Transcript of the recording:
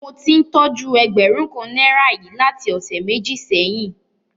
Mo ti ń tójú ẹgbẹ̀rún kan náírà yìí láti ọ̀sẹ̀ méjì sẹ́yìn.